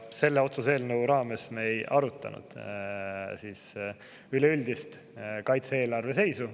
Selle otsuse eelnõu raames me ei arutanud üleüldist kaitse-eelarve seisu.